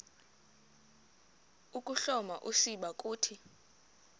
ukuhloma usiba uthi